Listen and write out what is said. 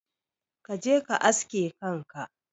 Kaje ka aske kanka.